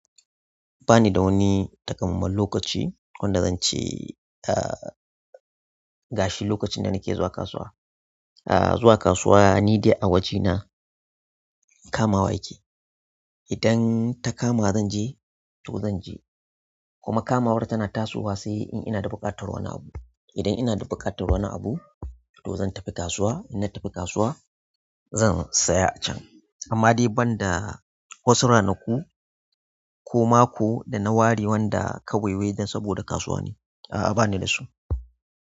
Ba ni da wani takammamen lokaci wanda zan ce, ah, gashi lokacin da nake zuwa kasuwa. Ah, zuwa kasuwa ni dai a wajena kamawa yake. Idan ta kama zan je to zan je. Kuma kamawar tana tasowa sai in inada buƙatar wani abu idan ina da buƙatar wani abu to zan tafi kasuwa. In na tafi kasuwa zan saya a can. Amma dai banda wasu ranaku ko mako da na ware wanda kaewewai dan saboda kasuwa ne. A'a, ba ni da su.